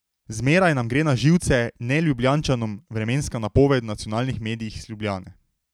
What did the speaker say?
Zmeraj nam gre na živce, Neljubljančanom, vremenska napoved v nacionalnih medijih iz Ljubljane.